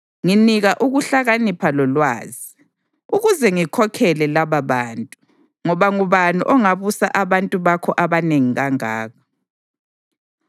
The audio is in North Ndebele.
Nginika ukuhlakanipha lolwazi, ukuze ngikhokhele lababantu, ngoba ngubani ongabusa abantu bakho abanengi kangaka?”